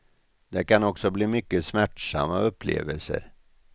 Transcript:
Det kan också bli mycket smärtsamma upplevelser.